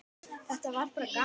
Þetta var bara gaman.